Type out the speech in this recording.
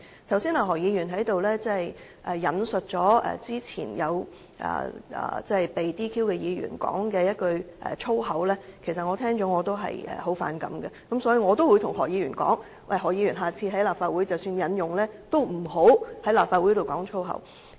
剛才何議員引述早前被撤銷資格的議員所說的一句粗言，我聽到後也非常反感，所以我也對何議員說，希望下次在立法會即使要加以引用，也不要公然在立法會粗言穢語。